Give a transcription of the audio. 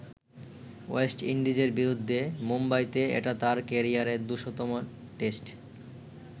West ইন্ডিজের বিরুদ্ধে মুম্বাইতে এটা তাঁর কেরিয়ারের দু'শত তম টেস্ট।